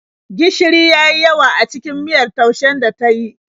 Gishiri ya yi yawa a cikin miyar taushen da ta yi.